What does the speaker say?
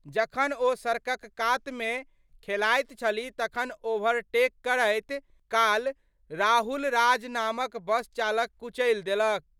जखन ओ सड़कक कात मे खेलाइत छलीह तखन ओवरटेक करैत काल राहुल राज नामक बस हुनका कुचलि देलक।